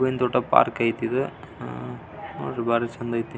ಚೆನ್ನಾಗಿ ಎತಿ ನೋಡ್ರಿ ನೋಡಿದ್ರ ಹೂವಿನ ತೋಟ ಅಂದಾಗ್ ಕಣ್ತೆತಿ.